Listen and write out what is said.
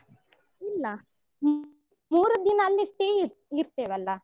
ಇಲ್ಲ, ಮೂರು ದಿನ ಅಲ್ಲಿ stay ಇ~ ಇರ್ತೇವಲ್ಲ.